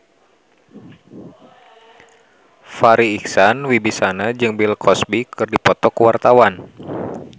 Farri Icksan Wibisana jeung Bill Cosby keur dipoto ku wartawan